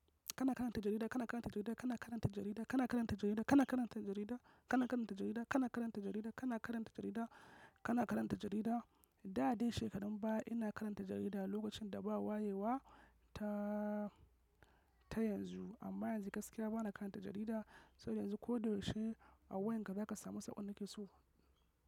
Kana karanta jarida, kana karanta jarida, kana karanta jarida, kana karanta jarida, kana karanta jarida, kana karanta jarida, kana karanta jarida, kana karanta jarida, kana karanta jarida. Da dai shekarun baya ina karanta jarida lokacin da ba wayewa ta, ta yanzu amma yanzu gaskiya bana karanta jarida. Saboda yanzu ko da yaushe a wayarka zaka samu saƙon da kake so.